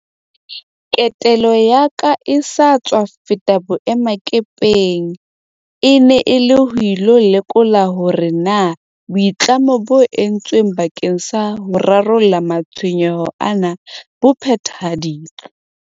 Ketelo ya ka e sa tswa feta boemakepeng e ne e le ho ilo lekola hore na boitlamo bo entsweng bakeng sa ho rarolla matshwenyeho ana bo phethahaditswe.